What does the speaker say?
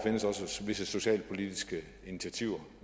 visse socialpolitiske initiativer